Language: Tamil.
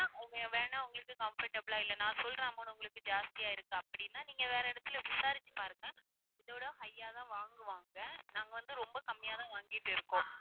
வேணா உங்களுக்கு comfortable ஆ இல்ல நான் சொல்ற மாதிரி உங்களுக்கு ஜாஸ்தியா இருக்கு அப்படின்னா நீங்க வேற இடத்தில விசாரிச்சுப் பாருங்க இதைவிட high ஆ தான் வாங்குவாங்க நாங்க வந்து ரொம்ப கம்மியா தான் வாங்கிட்டு இருக்கோம்